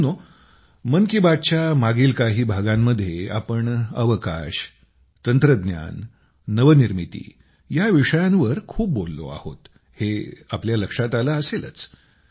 मित्रांनो मन की बातच्या मागील काही भागांमध्ये आपण अवकाश तंत्रज्ञान नवनिर्मिती या विषयांवर खूप बोललो आहोत हे तुमच्या लक्षात आले असेलच